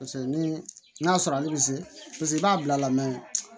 Paseke ni n'a sɔrɔ ale bɛ se paseke i b'a bila la